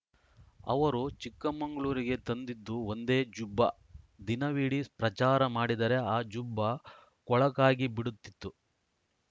ಅವರು ಚಿಕ್ಕಮಂಗಳೂರಿಗೆ ತಂದಿದ್ದು ಒಂದೇ ಜುಬ್ಬಾ ದಿನವಿಡೀ ಪ್ರಚಾರ ಮಾಡಿದರೆ ಆ ಜುಬ್ಬಾ ಕೊಳಕಾಗಿಬಿಡುತ್ತಿತ್ತು